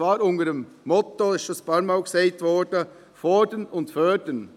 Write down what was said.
Dies unter dem Motto – es ist bereits mehrfach erwähnt worden – Fordern und Fördern.